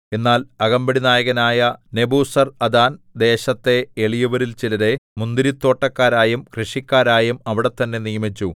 എന്നാൽ അകമ്പടിനായകനായ നെബൂസർഅദാൻ ദേശത്തെ എളിയവരിൽ ചിലരെ മുന്തിരിത്തോട്ടക്കാരായും കൃഷിക്കാരായും അവിടെത്തന്നെ നിയമിച്ചു